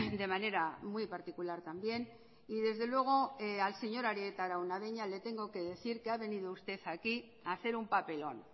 de manera muy particular también y desde luego al señor arieta araunabeña le tengo que decir que ha venido usted aquí a hacer un papelón